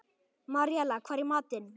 Maríella, hvað er í matinn?